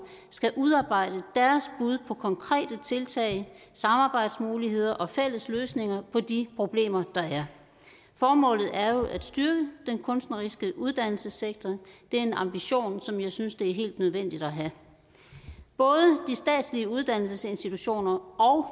skal udarbejde deres bud på konkrete tiltag samarbejdsmuligheder og fælles løsninger på de problemer der er formålet er jo at styrke den kunstneriske uddannelsessektor det er en ambition som jeg synes det er helt nødvendigt at have både de statslige uddannelsesinstitutioner og